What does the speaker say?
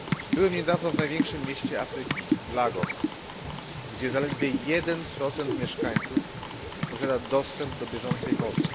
Byłem niedawno w największym mieście Afryki, w Lagos, gdzie zaledwie 1 mieszkańców posiada dostęp do bieżącej wody.